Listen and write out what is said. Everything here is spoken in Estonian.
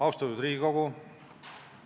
Austatud Riigikogu!